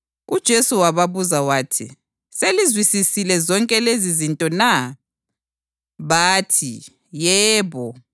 UJesu wababuza wathi, “Selizizwisisile zonke lezizinto na?” Bathi, “Yebo.”